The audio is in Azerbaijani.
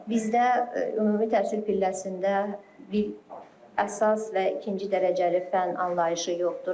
Bizdə ümumi təhsil pilləsində bir əsas və ikinci dərəcəli fənn anlayışı yoxdur.